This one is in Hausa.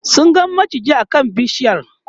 sun ga maciji a kan bishiyar